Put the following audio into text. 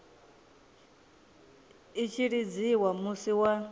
i tshi lidziwa musi wa